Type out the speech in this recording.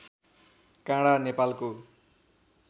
काँडा नेपालको